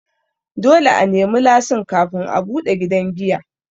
Dole a nemi lasin kafin a buɗe gidan giya.